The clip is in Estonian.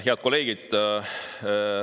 Head kolleegid!